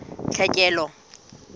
tlhekelo